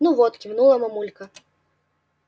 ну вот кивнула мамулька